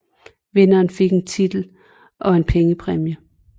Vinderen fik en titel og en pengepræmie